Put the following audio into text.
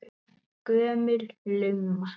Gömul lumma.